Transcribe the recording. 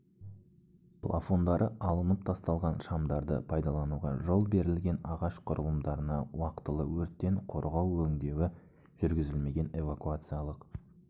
плафондары алынып тасталған шамдарды пайдалануға жол берілген ағаш құрылымдарына уақтылы өрттен қорғау өңдеуі жүргізілмеген эвакуациялық